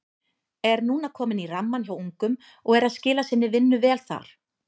Er núna kominn í rammann hjá ungum og er að skila sinni vinnu vel þar.